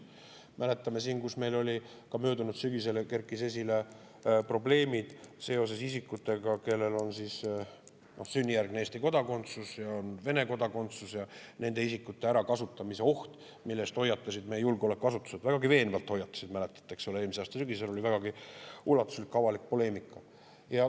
Mäletame siin, kuidas meil möödunud sügisel kerkisid esile probleemid seoses isikutega, kellel on sünnijärgne Eesti kodakondsus ja on ka Vene kodakondsus, nende isikute ärakasutamise oht, mille eest hoiatasid meie julgeolekuasutused – vägagi veenvalt hoiatasid, mäletate, eelmise aasta sügisel oli ulatuslik avalik poleemika.